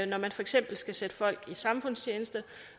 når man for eksempel skal sætte folk i samfundstjeneste